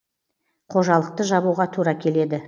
қожалықты жабуға тура келеді